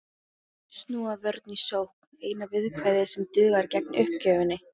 Snúa vörn í sókn, eina viðkvæðið sem dugar gegn uppgjöfinni.